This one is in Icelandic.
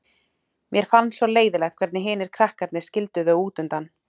Mér fannst svo leiðinlegt hvernig hinir krakkarnir skildu þau út undan.